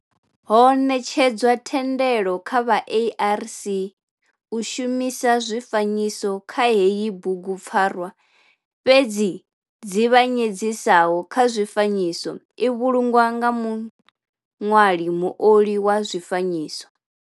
Ho netshedzwa thendelo kha vha ARC u shumisa zwifanyiso kha heyi bugupfarwa fhedzi nzivhanyedziso kha zwifanyiso i vhulungwa nga muṋwali muoli wa zwifanyiso.